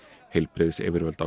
heilbrigðisyfirvöld á